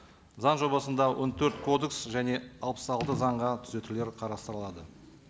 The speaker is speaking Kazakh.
заң жобасында он төрт кодекс және алпыс алты заңға түзетулер қарастырылады